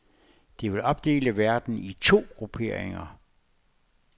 Det vil opdele verden i to grupperinger.